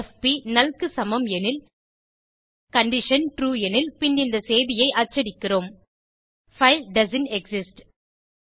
எஃபி null க்கு சமம் எனில் கண்டிஷன் ட்ரூ எனில் பின் இந்த செய்தியை அச்சடிக்கிறோம் பைல் டோஸ்ன்ட் எக்ஸிஸ்ட்